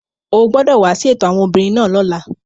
O gbọdọ wa si eto awọn obinrin naa lọla!